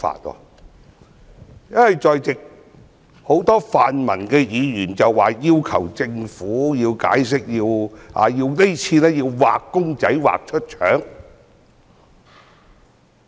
很多在席的泛民議員要求政府解釋，要"畫公仔畫出腸"。